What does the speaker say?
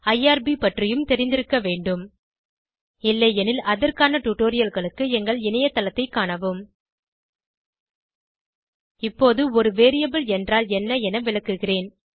IRB பற்றியும் தெரிந்திருக்கவேண்டும் இல்லையெனில் அதற்கான டுடோரியல்களுக்கு எங்கள் இணையதளத்தை காணவும் இப்போது ஒரு வேரியபிள் என்றால் என்ன என விளக்குகிறேன்